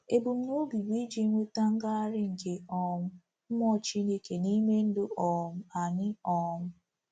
Ebumnobi bụ iji nweta ngagharị nke um Mmụọ Chineke n’ime ndụ um anyị. um